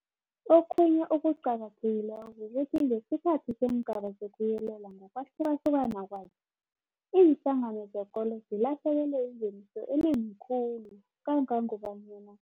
Okhunye okuqakathekileko kukuthi ngesikhathi seengaba zokuyelela ngokwahlukahluka kwazo, iinhlangano zekolo zilahlekelwe yingeniso enengi khulu kangangobanyana